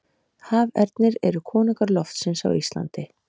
Hafernir eru konungar loftsins á Íslandi.